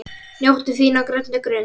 Njóttu þín á grænni grund.